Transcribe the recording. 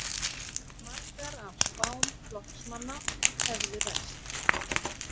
Margar af spám flokksmanna hefðu ræst